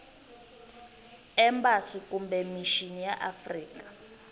embasi kumbe mixini ya afrika